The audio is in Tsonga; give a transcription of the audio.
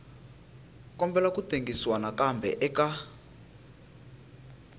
kombela ku tengisiwa nakambe eka